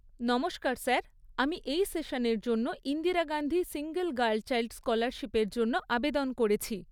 নমস্কার স্যার, আমি এই সেশন এর জন্য Indira Gandhi single girl child স্কলারশিপের জন্য আবেদন করেছি।